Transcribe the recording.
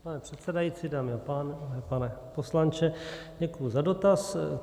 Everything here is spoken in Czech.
Pane předsedající, dámy a pánové, pane poslanče, děkuji za dotaz.